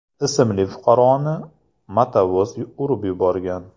ismli fuqaroni motovoz urib yuborgan.